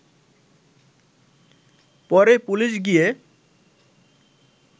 পরে পুলিশ গিয়ে